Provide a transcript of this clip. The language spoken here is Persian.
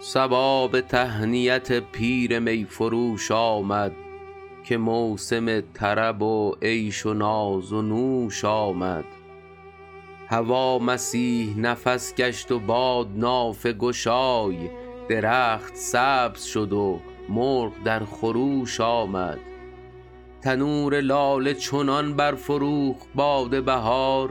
صبا به تهنیت پیر می فروش آمد که موسم طرب و عیش و ناز و نوش آمد هوا مسیح نفس گشت و باد نافه گشای درخت سبز شد و مرغ در خروش آمد تنور لاله چنان برفروخت باد بهار